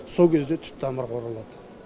сол кезде түп тамырға оралады